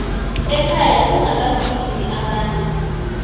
e khenya kunabagijimi abanengi